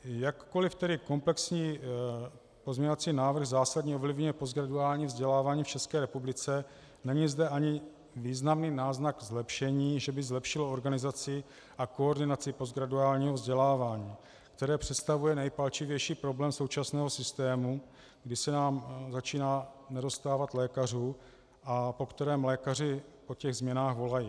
Jakkoliv tedy komplexní pozměňovací návrh zásadně ovlivňuje postgraduální vzdělávání v České republice, není zde ani významný náznak zlepšení, že by zlepšilo organizaci a koordinaci postgraduálního vzdělávání, které představuje nejpalčivější problém současného systému, kdy se nám začíná nedostávat lékařů, a po kterém lékaři, po těch změnách volají.